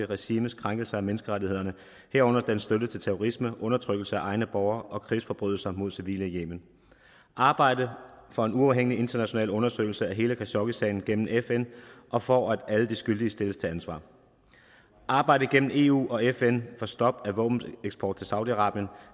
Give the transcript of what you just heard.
regimes krænkelser af menneskerettighederne herunder dets støtte til terrorisme undertrykkelse af egne borgere og krigsforbrydelserne mod civile i yemen at arbejde for en uafhængig international undersøgelse af hele khashoggisagen gennem fn og for at alle de skyldige stilles til ansvar at arbejde gennem eu og fn for stop for våbeneksport til saudi arabien